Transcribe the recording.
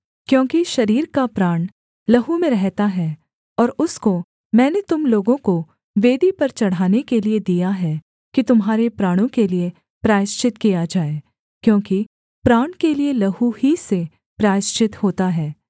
क्योंकि शरीर का प्राण लहू में रहता है और उसको मैंने तुम लोगों को वेदी पर चढ़ाने के लिये दिया है कि तुम्हारे प्राणों के लिये प्रायश्चित किया जाए क्योंकि प्राण के लिए लहू ही से प्रायश्चित होता है